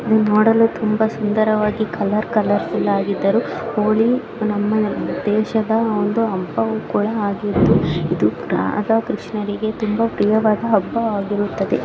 ಇದು ನೋಡಲು ತುಂಬಾ ಸುದಾರವಾಗಿ ಕಲರ್ಫುಲ್ಲಾಗಿ ಇದ್ದುರೂ ಹೋಳಿ ನಮ್ಮ ಅಬ್ಬಾ ಕೂಡ ಆಗಿದ್ದು ಇದು ರಾಧಾ ಕೃಷ್ಣಾರಿಗೆ ಪ್ರಿಯವಾದ ಹಬ್ಬವಾಗಿರುತ್ತದೆ.